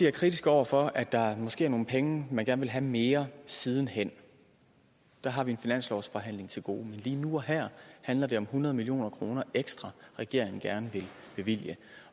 er kritisk over for at der måske er nogle penge man gerne vil have mere siden hen der har vi en finanslovsforhandling til gode men lige nu og her handler det om hundrede million kroner ekstra regeringen gerne vil bevilge